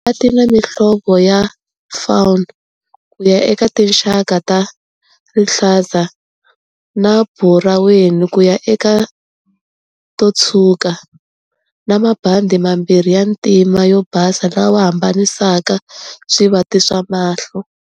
Tina mihlovo ya fawn kuya eka tinxaka ta rihlaza na buraweni kuya eka to tshwuka, na mabandhi mambirhi ya ntima na yo basa lawa ya hambanisaka swivati swa mahlo.